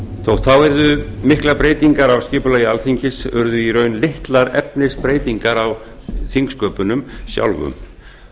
þótt þá yrðu miklar breytingar á skipulagi alþingis urðu í raun litlar efnisbreytingar á þingsköpunum sjálfum